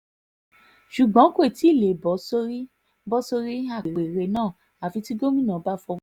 ṣùgbọ́n kò tí ì lè bọ́ sórí bọ́ sórí apẹ̀rẹ̀ náà àfi tí gómìnà bá fọwọ́ sí i